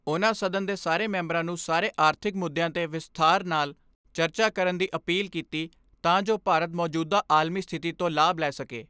ਉਨ੍ਹਾਂ ਸਦਨ ਦੇ ਸਾਰੇ ਮੈਂਬਰਾਂ ਨੂੰ ਸਾਰੇ ਆਰਥਿਕ ਮੁੱਦਿਆਂ 'ਤੇ ਵਿਸਥਾਰ ਨਾਲ ਚਰਚਾ ਕਰਨ ਦੀ ਅਪੀਲ ਕੀਤੀ ਤਾਂ ਜੋ ਭਾਰਤ ਮੌਜੂਦਾ ਆਲਮੀ ਸਥਿਤੀ ਤੋਂ ਲਾਭ ਲੈ ਸਕੇ।